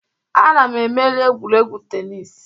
Ana m emeri egwuregwu tenis